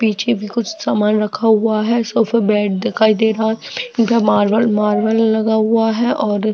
पीछे भी कुछ समान रखा हुआ है सोफा बेड दिखाई दे रहा है और मार्बल मार्बल लगा हुआ है और --